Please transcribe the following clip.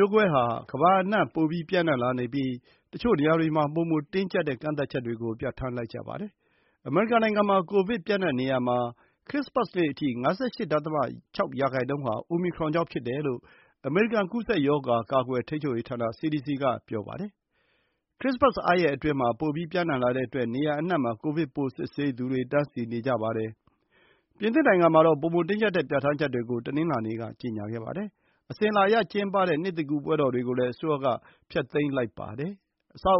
ျိုးကွဲဟာ ကမ္ဘာအနှံ့ ပျံ့နှံ့လာနေပြီး တချို့နေရာတွေမှာ ပိုမိုတင်းကျပ်တဲ့ ကန့်သတ်ချက်တွေကို ပြဌာန်းလိုက်ကြပါတယ်။ အမေရိကန်နိုငံမှာ ကိုဗစ် ပျံ့နှံ့နေရာမှာ ခရစ္စမတ်နေ့အထိ ၅၈.၆ ရာနှုန်းဟာ အိုမီခရွန်ကြောင့် ဖြစ်တယ်လို့ အမေရိကန် ကူးစက်ရောဂါကာကွယ်ထိန်းချုပ်ရေးဌာန စီဒီစီက ပြောပါတယ်။ ခရစ္စမတ် အားရက်အတွင်း ပိုပြီး ပျံ့နှံ့လာတဲ့အတွက် နေရာအနှံ့မှာ ကိုဗစ်ပိုး စစ်ဆေးသူတွေ တန်းစီနေကြပါတယ်။ ပြင်သစ်နိုင်ငံမှာတော့ ပိုမိုတင်းကျပ်တဲ့ ပြဌာန်းချက်တွေကို တနင်္လာနေ့က ကြေညာခဲ့ပါတယ်။အစဉ်အလာအရ ကျင်းပတဲ့ နှစ်သစ်ကူး ပွဲတော်တွေကိုလည်း အစိုးရက ဖျက်သိမ်းလိုက်ပါတယ်။အဆောက်